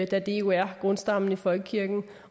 da det jo er grundstammen i folkekirken